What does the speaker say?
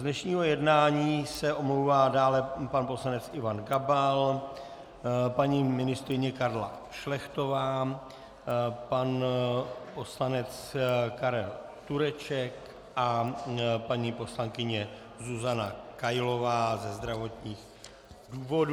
Z dnešního jednání se omlouvá dále pan poslanec Ivan Gabal, paní ministryně Karla Šlechtová, pan poslanec Karel Tureček a paní poslankyně Zuzana Kailová ze zdravotních důvodů.